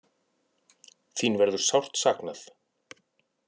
Þín verður sárt saknað!